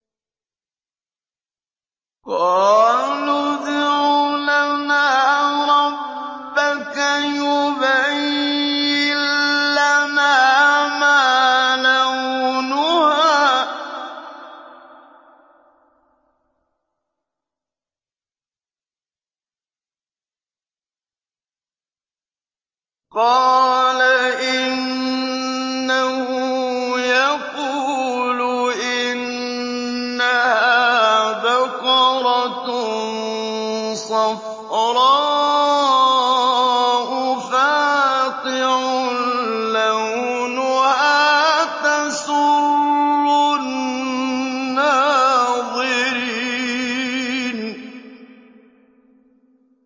قَالُوا ادْعُ لَنَا رَبَّكَ يُبَيِّن لَّنَا مَا لَوْنُهَا ۚ قَالَ إِنَّهُ يَقُولُ إِنَّهَا بَقَرَةٌ صَفْرَاءُ فَاقِعٌ لَّوْنُهَا تَسُرُّ النَّاظِرِينَ